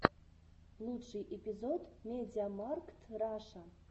лучший эпизод мидиамаркт раша